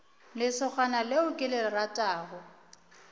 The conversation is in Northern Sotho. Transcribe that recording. lesogana leo ke le ratago